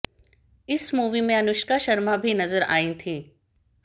इस मूवी में अनुष्का शर्मा भी नज़र आई थीं